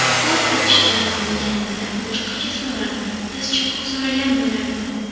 Vafot etishlarini bilganimda boshqacha so‘rardim tiz cho‘kib so‘ragan bo‘lardim.